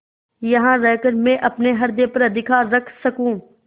यहाँ रहकर मैं अपने हृदय पर अधिकार रख सकँू